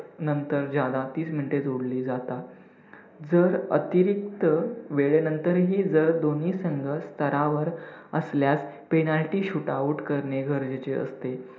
नंतर ज्यादा तीस minutes जोडली जातात. जर अतिरिक्त वेळेनंतर ही जर दोन्ही संघ स्तरावर असल्यास penalty shoot out करणे गरजेचे असते.